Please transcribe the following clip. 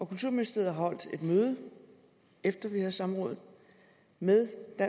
kulturministeriet har holdt et møde efter vi havde samråd med det